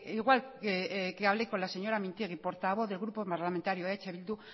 igual que hablé con la señora mintegi portavoz del grupo parlamentario eh bildu